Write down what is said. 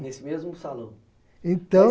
Nesse mesmo salão. Então